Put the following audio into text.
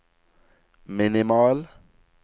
minimal